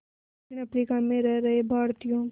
दक्षिण अफ्रीका में रह रहे भारतीयों